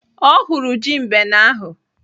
Ọ hụrụ ji mbene ahụ.